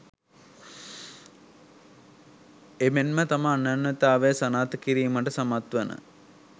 එමෙන්ම තම අනන්‍යතාවය සනාථ කිරීමට සමත්වන